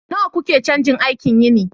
nawa kuke cajin aikin yini